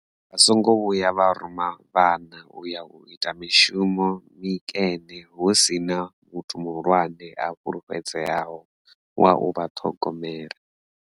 Vha songo vhuya vha ruma vhana u ya u ita mishumo mikene hu si na muthu muhulwane a fulufhedzeaho wa u vha ṱhogomela.